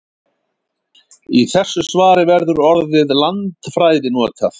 Í þessu svari verður orðið landfræði notað.